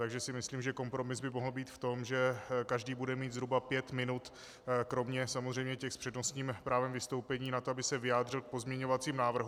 Takže si myslím, že kompromis by mohl být v tom, že každý bude mít zhruba pět minut kromě samozřejmě těch s přednostním právem vystoupení, na to, aby se vyjádřil k pozměňovacím návrhům.